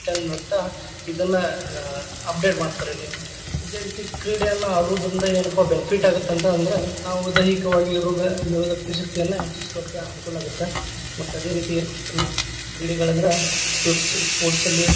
ಚಂದ್‌ ಅಂತ ಇದನ್ನ ಆ update ಮಾಡ್ತಾರೆ name ಅದೇ ರೀತಿ ಕ್ರೀಡೆಯನ್ನ ಆಡುದ್ರಿಂದ ಏನ್ಪಾ ‌benfit ಆಗತ್ತ್ ಅಂತ ಅಂದ್ರ ನಾವು ದೈಹಿಕವಾಗಿ ರೋಗನಿರೋಧಕ ಶಕ್ತಿಯನ್ನ ಹೆಚ್ಚಿಸ್ಕೊಳಾಕೆ ಅನುಕೂಲ ಆಗತ್ತ ಮತ್ ಅದೇರೀತಿ ಹ್ಮ್ ಕ್ರೀಡೆ‌ಗಳಂದ್ರ sports, sports ಅಲ್ಲಿ.